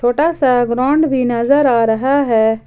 छोटा सा ग्राउंड भी नजर आ रहा है।